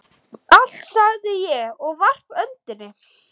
Allt, sagði ég og varp öndinni.